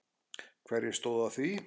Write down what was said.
Hverjir stóðu að því?